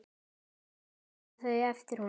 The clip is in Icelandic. Bæði taka þau eftir honum.